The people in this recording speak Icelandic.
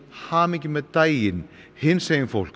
hamingju með daginn hinsegin fólk